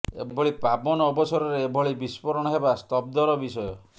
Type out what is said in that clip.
ଏଭଳି ପାବନ ଅବସରରେ ଏଭଳି ବିସ୍ଫୋରଣ ହେବା ସ୍ତବ୍ଧର ବିଷୟ